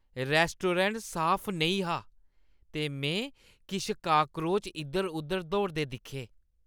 रेस्टोडेंट साफ नेईं हा ते में किश काक्रोच इद्धर-उद्धर दौड़दे दिक्खे।